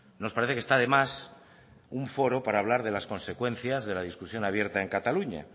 nos parece que está de más un foro para hablar de las consecuencias de la discusión abierta en cataluña